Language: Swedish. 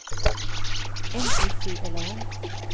N I C L A S